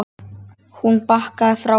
Hún bakkaði frá honum.